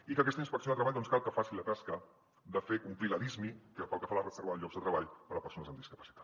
i que aquesta inspecció de treball doncs cal que faci la tasca de fer complir la lismi pel que fa a la reserva de llocs de treball per a persones amb discapacitat